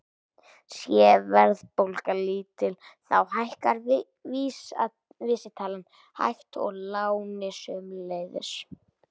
Sé verðbólga lítil þá hækkar vísitalan hægt og lánin sömuleiðis.